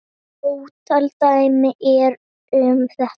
Ótal dæmi eru um þetta.